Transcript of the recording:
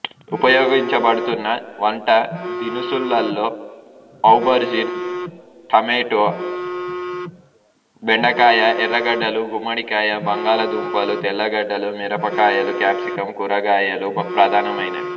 ఉపయోగించబడుతున్న వంటదినుసులలో aubergine tomato బెండకాయ ఎర్రగడ్డలు గుమ్మడికాయ బంగాళదుంపలు తెల్లగడ్డలు మిరపకాయలు కాప్సికం కూరగాయలు ప్రధానమైనవి